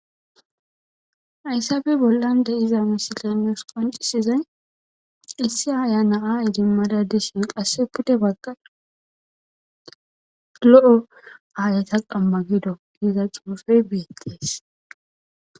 Hayssappe bollan de'zza missiley nusi qonccisizay issi aya na'a edimmada dishshin qase pudde bagan lo'o ayeta qamma giddo giza xuffeyi bettes.